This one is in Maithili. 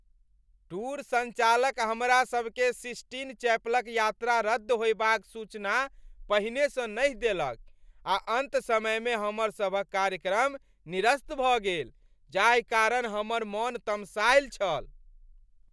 टूर सञ्चालक हमरासभकेँ सिस्टीन चैपलक यात्रा रद्द होयबाक सूचना पहिनेसँ नहि देलक आ अन्त समयमे हमरसभक कार्यक्रम निरस्त भऽ गेल, जाहि कारण हमर मन तमसायल छल।